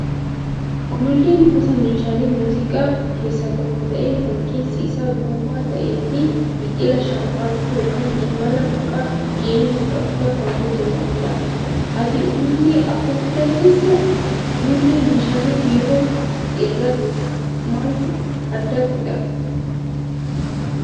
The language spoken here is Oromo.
Ululleen gosa meeshaalee muuziqaa keessaa tokko ta'ee kan keessi isaa duwwaa ta'ee fi biqilaa shambaqqoo yookaan shimala boca geengoo qaburraa kan hojjatamudha. Ati ulullee afuufuu dandeessaa? Ulullee meeshaalee biroon irraa maaltu adda godhaa?